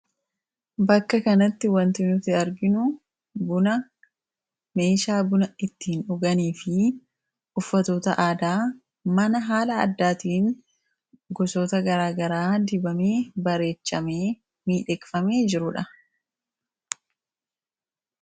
bakka kanatti wanti nuti arginu buna meeshaa buna ittiin dhuganii fi uffatoota aadaa mana haala addaatiin gusoota garaagaraa dibamee bareechamee miidheqfame jiruudha